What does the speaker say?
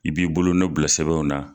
I b'i bolonɔ bila sɛbɛnw na.